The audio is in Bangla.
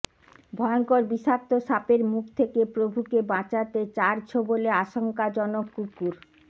ভয়ঙ্কর বিষাক্ত সাপের মুখ থেকে প্রভুকে বাঁচাতে চার ছোবলে আশঙ্কাজনক কুকুর